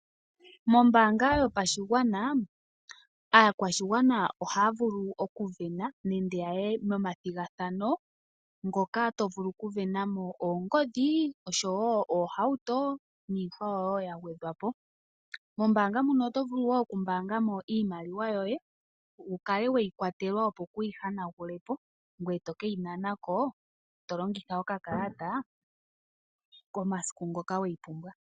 Mombaanga yopashigwana aakwashigwana ohaa vulu okuvena nende Yaya momathigathano mono to vulu okuvena iinima ngaashi oongodhi noohauto noyindji woo ya gwedhwa po, mombaanga muno oto vulu wo oku pungulilwa mo iimaliwa yoye opo kwayi yonepo ngoy tokeyi nana ko to longitha okakala .